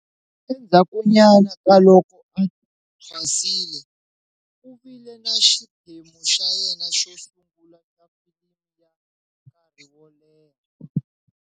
Endzhakunyana ka loko a thwasile, u vile na xiphemu xa yena xo sungula xa filimi ya nkarhi wo leha.